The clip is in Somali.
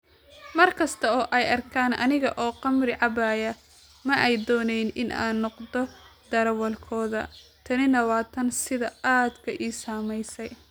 Mar kasta oo ay arkaan aniga oo khamri cabbaya, ma ay doonayn in aan noqdo darawalkooda, tanina waa tan sida aadka ii saamaysay.